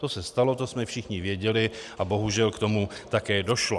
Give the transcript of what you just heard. To se stalo, to jsme všichni věděli a bohužel k tomu také došlo.